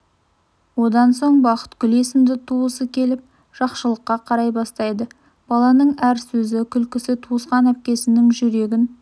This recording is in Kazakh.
одан соң бақытгүл есімді туысы келіп жақшылыққа қарай бастайды баланың әр сөзі күлкісі туысқан әпкесінің жүрегін